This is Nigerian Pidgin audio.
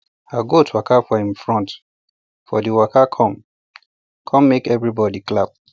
her goats waka for um front for d waka come come make everybody clap